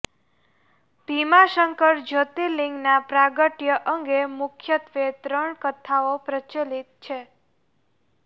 ભીમાશંકર જ્યોતિર્લિંગના પ્રાગટ્ય અંગે મુખ્યત્વે ત્રણ કથાઓ પ્રચલિત છે